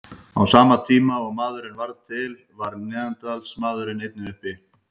Á sama tíma og maðurinn varð til var neanderdalsmaðurinn einnig uppi.